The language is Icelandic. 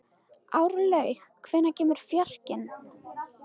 Árlaug, hvenær kemur fjarkinn?